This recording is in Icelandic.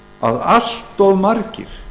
að allt of margir